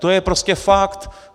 To je prostě fakt.